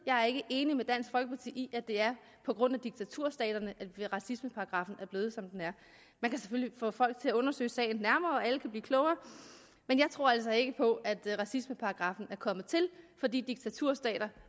jeg er ikke enig med dansk folkeparti i at det er på grund af diktaturstaterne at racismeparagraffen er blevet som den er men kan selvfølgelig få folk til at undersøge sagen nærmere og alle kan blive klogere men jeg tror altså ikke på at racismeparagraffen er kommet til fordi diktaturstater